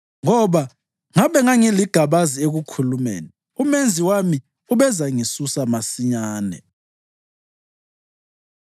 ngoba ngabe ngangiligabazi ekukhulumeni, uMenzi wami ubezangisusa masinyane.”